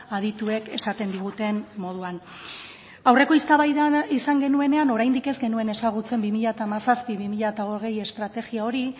adituek esaten diguten moduan aurreko eztabaidan izan genuenean oraindik ez genuen ezagutzen bi mila hamazazpi bi mila hogei estrategia hori